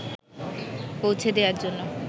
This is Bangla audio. পৌঁছে দেয়ার জন্য